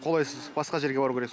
қолайсыз басқа жерге бару керек